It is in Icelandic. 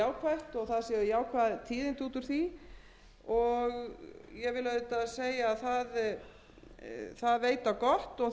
á gott og þess vegna hefur verið ákveðið að sjávarútvegs og landbúnaðarnefnd komi